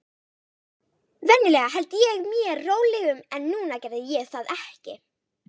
Venjulega held ég mér rólegum, en núna gerði ég það ekki.